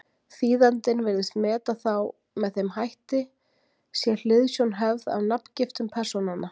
Þýðandinn virðist meta þá með þeim hætti, sé hliðsjón höfð af nafngiftum persónanna.